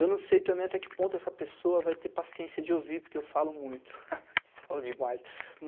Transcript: Eu não sei também até que ponto essa pessoa vai ter paciência de ouvir, porque eu falo muito, falo demais.